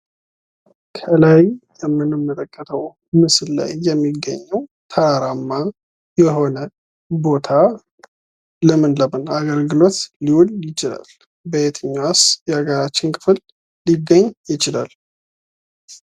ከላይ ከምንመለከተው ምስል ላይ የሚገኘው ተራራማ የሆነ ቦታ ለምን ለምን አገልግሎት ሊውል ይችላል ?በየትኛውስ የአገራችን ክፍል ሊገኝ ይችላል?